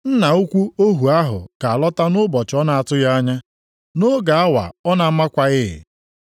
Nna ukwu ohu ahụ ga-alọta nʼụbọchị ọ na-atụghị anya, nʼoge awa ọ na-amakwaghị.